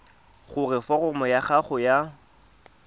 gore foromo ya gago ya